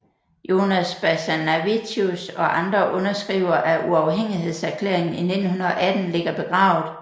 Jonas Basanavičius og andre underskrivere af uafhængighedserklæringen i 1918 ligger begravet